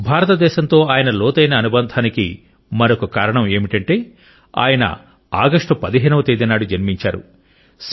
భారతదేశంతో ఆయన లోతైన అనుబంధానికి మరొక కారణం ఏమిటంటే ఆయన ఆగస్టు 15 వ తేదీ నాడు జన్మించారు